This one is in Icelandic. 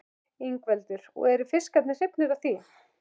Ingveldur: Og eru fiskarnir hrifnir af því?